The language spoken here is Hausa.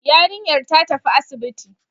Yarinyar ta tafi asibiti